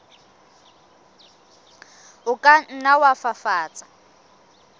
o ka nna wa fafatsa